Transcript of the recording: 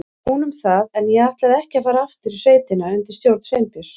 Hún um það, en ég ætlaði ekki að fara aftur í sveitina undir stjórn Sveinbjörns.